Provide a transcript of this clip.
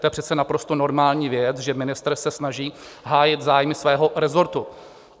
To je přece naprosto normální věc, že ministr se snaží hájit zájmy svého resortu.